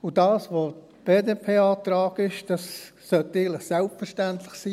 Und das, was der BDP-Antrag ist, das sollte eigentlich selbstverständlich sein.